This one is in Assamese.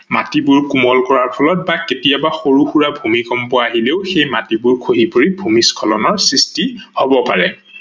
মাটিবোৰ কোমল কৰাৰ ফলত বা কেতিয়াবা সৰু সুৰা ভূমিকম্প অহিলেও সেই মাটিবোৰ খহি পৰি ভূমিস্খলনৰ সৃষ্টি হব পাৰে।